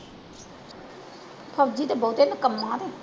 ਫ਼ੋਜ਼ੀ ਤੇ ਬਹੁਤੇ ਨਿਕੰਮਾ।